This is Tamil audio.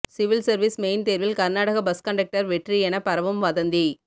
சிவில் சர்வீஸ் மெயின் தேர்வில் கர்நாடக பஸ் கண்டக்டர் வெற்றி என பரவும் வதந்தி